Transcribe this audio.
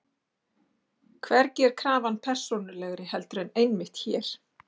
Hvergi er krafan persónulegri heldur en einmitt hér.